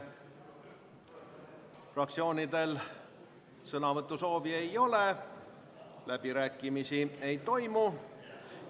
Fraktsioonidel sõnavõtusoove ei ole, läbirääkimisi ei toimu.